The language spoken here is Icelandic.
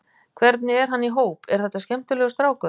Hvernig er hann í hóp, er þetta skemmtilegur strákur?